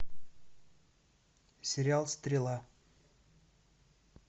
сериал стрела